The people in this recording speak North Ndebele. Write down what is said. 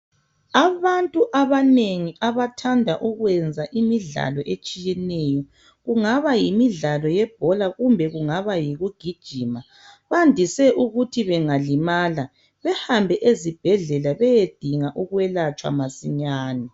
Abantu abanengi abathanda ukwenza imidlalo etshiyeneyo kungaba yimidlalo yebhola kumbe kungaba yikugijima bandise ukuthi bengalimala behambe ezibhedlela beye dinga ukwelatshwa masinyane.